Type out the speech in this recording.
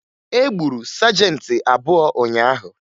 E gburu sajentị abụọ ụnyaahụ